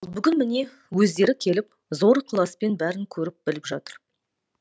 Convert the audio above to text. ал бүгін міне өздері келіп зор ықыласпен бәрін көріп біліп жатыр